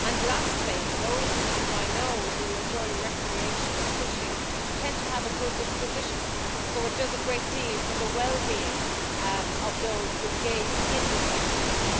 Lastly, those whom I know who enjoy recreational fishing tend to have a good disposition, so it does a great deal for the wellbeing of those who engage in this activity.